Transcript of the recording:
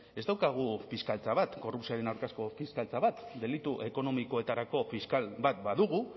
ez daukagu fiskaltza bat korrupzioaren aurkako fiskaltza bat delitu ekonomikoetarako fiskal bat badugu